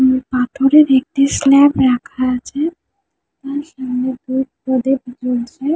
উম পাথরের একটি স্ল্যাব রাখা আছে | তার সামনে ধূপ প্রদীপ জ্বলছে-এ।